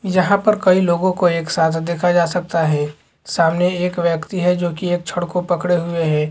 जहां पर कई लोगों को एकसाथ देखा जा सकता है सामने एक व्यक्ति है जो की एक छड़ को पकड़े हुए है।